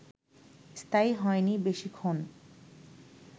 স্থায়ী হয়নি বেশিক্ষণ